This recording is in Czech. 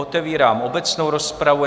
Otevírám obecnou rozpravu.